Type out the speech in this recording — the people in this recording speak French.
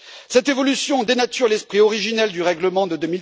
Cette évolution dénature l'esprit originel du règlement de